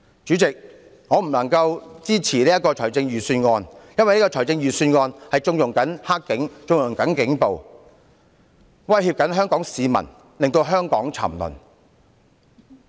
主席，我不能支持這項預算案，因為這項預算案縱容了"黑警"和警暴，威脅香港市民，令香港沉淪。